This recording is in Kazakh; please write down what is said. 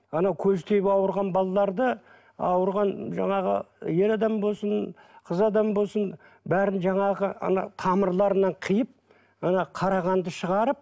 ана көз тиіп ауырған балаларды ауырған жаңағы ер адам болсын қыз адам болсын бәрін жаңағы ана тамырларынан қиып ана қара қанды шығарып